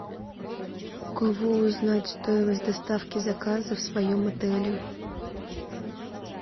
у кого узнать стоимость доставки заказа в своем отеле